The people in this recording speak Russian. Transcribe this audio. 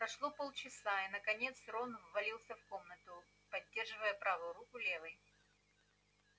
прошло полчаса и наконец рон ввалился в комнату поддерживая правую руку левой